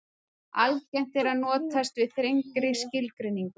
algengt er að notast við þrengri skilgreiningu